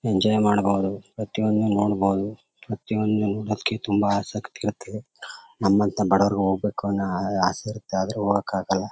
Enjoy ಮಾಡಬಹುದು ಪ್ರತಿಒಂದು ನೋಡ್ಬಹುದ್ ಪ್ರತಿ ಒಂದು ಅದಕೆ ತುಂಬಾ ಆಸಕ್ತಿ ಇರುತ್ತೆ ನಮ್ಮಂತ ಬಡವರಿಗೆ ಹೋಗ್ಬೇಕನ ಅಸೆ ಇರುತ್ತೆ ಆದ್ರೆ ಹೋಗಕಾಗಲ್ಲ.